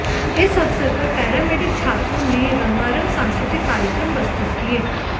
इस अवसर पर पैरा मेडिक छात्रों ने रंगरंग सांस्कृतिक कार्यक्रम प्रस्तुत किये